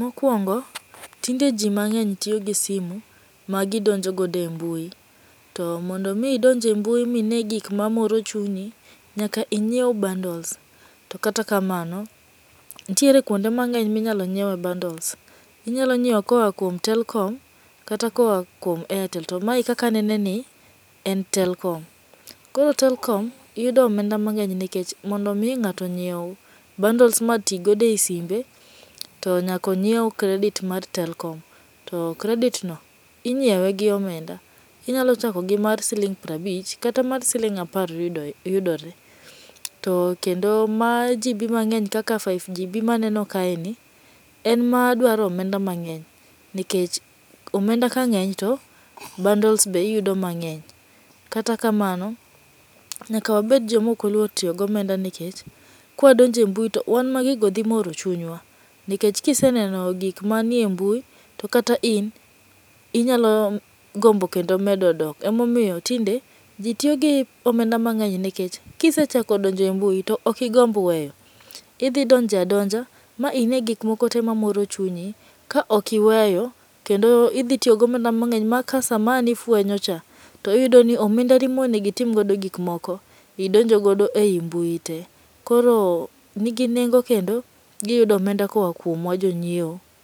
Mokuongo tinde ji mang'eny tiyo gi simu magidonjo godo e mbui, to mondo mi idonj e mbui ma ine gik mamoro chunyi, nyaka inyiew bundles. To kata kamano, nitiere kuonde mang'eny ma inyalo nyiewe bundles. Inyalo nyiewo koa kuom telkom, kata koa kuom airtel. to mae kaka anene ni en telkom. Koro telkom yudo omenda mang'eny nikech mond mi ng'ato nyiew bundles mati godo e simbe to nyaka onyiew kredit mar telkom to kredit no inyiewe gi omenda. Inyalo chako gi mar siling' piero abich kata mar siling' apar yudore to kendo mar GB mang'eny kaka 5GB maneno kaeni en madwaro omenda mang'eny nikech omenda kang'eny to bundles be iyudo mang'eny. To kata kamano, nyaka wabed joma ok oluoro tiyo gi omenda nikech kawadonjo e mbui wan ma gigo dhi moro chunywa nikech ka iseneno gik manie mbui to kata in inyalo gombo kendo medo dok emomiyo tinde ji tiyo gi omenda mang'eny nikech kise chako donjo e mbui to ok igomb weyo. Idhi donjo adonja ma ine gik moko te mamoro chunyi ka ok iweyo kendo idhi tiyo gi omenda mang'eny ma ka sama ang' ifuenyo cha iyudo ka omendani mane onego itim godo gik moko , idonjo godo ei mbui te. To koro nigi nengo kendo giyudo omenda koa kuomwa jonyiewo.